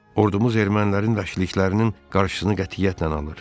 Ordumuz ermənilərin vəşiliklərinin qarşısını qətiyyətlə alır.